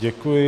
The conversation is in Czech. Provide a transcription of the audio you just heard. Děkuji.